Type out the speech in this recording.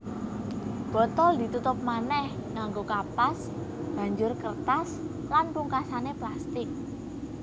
Botol ditutup manéh nganggo kapas banjur kertas lan pungkasané plastik